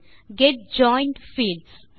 get joint fields